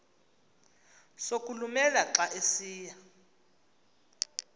sokulumela xa esiya